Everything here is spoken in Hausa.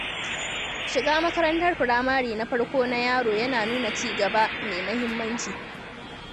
Shiga makarantar firamare na farko na yaro yana nuna ci gaba mai muhimmanci.